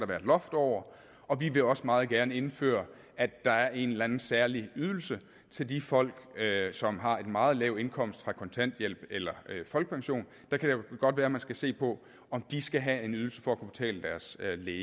være et loft over og vi vil også meget gerne indføre at der er en eller anden særlig ydelse til de folk som har en meget lav indkomst fra kontanthjælp eller folkepension der kan det godt være at man skal se på om de skal have en ydelse for at kunne betale deres læge